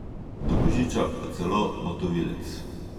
Do božiča pa celo motovilec!